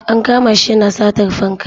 An kama shi yana satar fanka.